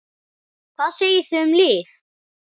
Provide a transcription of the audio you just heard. Hvað segið þið um lyf?